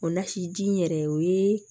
O lasiji in yɛrɛ o yee